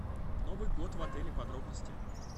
новый год в отеле подробности